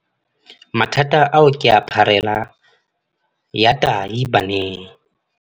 Mathata ao ke pharela ya tahi baneng.